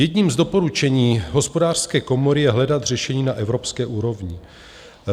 Jedním z doporučení Hospodářské komory je hledat řešení na evropské úrovni.